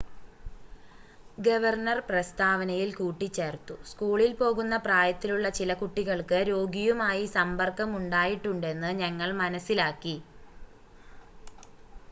"Governor പ്രസ്‌താവനയിൽ കൂട്ടിച്ചേർത്തു "സ്കൂളിൽ പോകുന്ന പ്രായത്തിലുള്ള ചില കുട്ടികൾക്ക് രോഗിയുമായി സമ്പർക്കം ഉണ്ടായിട്ടുണ്ടെന്ന് ഞങ്ങൾ മനസ്സിലാക്കി.""